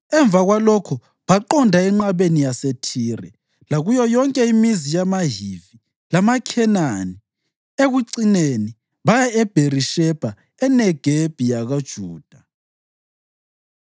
Emva kwalokho baqonda enqabeni yaseThire lakuyo yonke imizi yamaHivi lamaKhenani. Ekucineni, baya eBherishebha eNegebi yakoJuda.